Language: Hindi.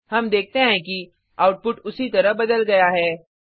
हम देखते हैं कि आउटपुट उसी तरह बदल गया है